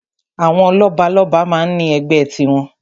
Àwọn lọ́balọ́ba máa ń ní ẹgbẹ́ tiwọn.